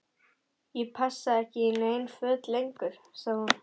Ég passa ekki í nein föt lengur sagði hún.